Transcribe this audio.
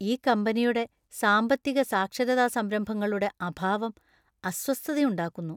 ഈ കമ്പനിയുടെ സാമ്പത്തിക സാക്ഷരതാ സംരംഭങ്ങളുടെ അഭാവം അസ്വസ്ഥതയുണ്ടാക്കുന്നു.